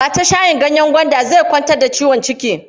Ba ta shayin ganyen gwanda zai kwantar da ciwon ciki.